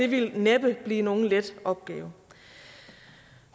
ville næppe blive nogen let opgave